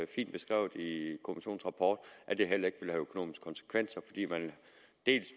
fint beskrevet i kommissionens rapport at det heller ikke have økonomiske konsekvenser fordi man dels